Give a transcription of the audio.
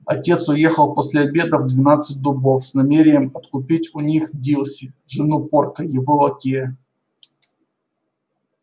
отец уехал после обеда в двенадцать дубов с намерением откупить у них дилси жену порка его лакея